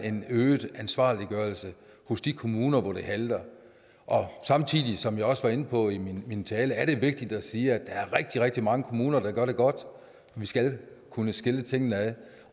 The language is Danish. en øget ansvarliggørelse hos de kommuner hvor det halter samtidig som jeg også var inde på i min min tale er det vigtigt at sige at der er rigtig rigtig mange kommuner der gør det godt vi skal kunne skille tingene ad